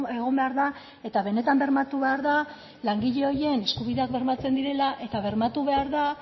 egon behar da eta benetan bermatu behar da langile horien eskubideak bermatzen direla eta bermatu behar da